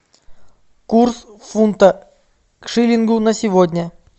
курс фунта к шиллингу на сегодня